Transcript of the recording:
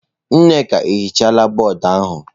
Nneka ehichala bọọdụ ahụ.